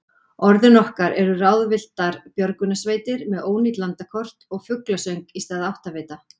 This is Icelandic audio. Orðin okkar eru ráðvilltar björgunarsveitir með ónýt landakort og fuglasöng í stað áttavita.